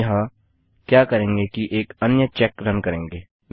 हम यहाँ क्या करेंगे कि एक अन्य चेक रन करेंगे